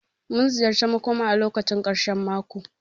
Mun ziyarci makõma a lokacin karshen mako.